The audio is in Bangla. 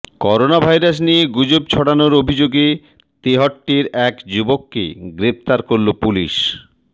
করোনা ভাইরাস নিয়ে গুজব ছড়ানোর অভিযোগে তেহট্টের এক যুবককে গ্রফতার করল পুলিশ